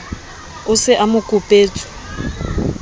o se a mo kopetswe